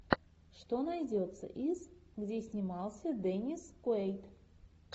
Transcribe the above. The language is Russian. что найдется из где снимался деннис куэйд